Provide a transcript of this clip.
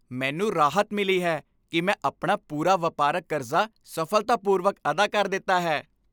ਮੈਨੂੰ ਰਾਹਤ ਮਿਲੀ ਹੈ ਕਿ ਮੈਂ ਆਪਣਾ ਪੂਰਾ ਵਪਾਰਕ ਕਰਜ਼ਾ ਸਫ਼ਲਤਾਪੂਰਵਕ ਅਦਾ ਕਰ ਦਿੱਤਾ ਹੈ।